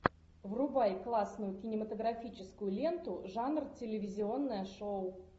врубай классную кинематографическую ленту жанра телевизионное шоу